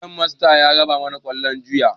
Gemasta ya raba mana kwallo juya